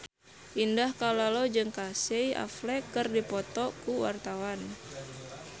Indah Kalalo jeung Casey Affleck keur dipoto ku wartawan